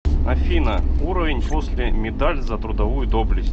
афина уровень после медаль за трудовую доблесть